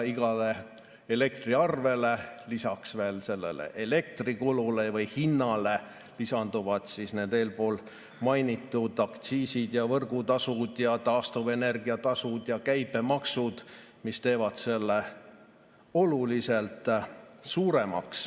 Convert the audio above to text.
Iga elektriarve puhul elektrikulule või hinnale lisanduvad need eespool mainitud aktsiisid ja võrgutasud ja taastuvenergia tasud ja käibemaksud, mis teevad arve oluliselt suuremaks.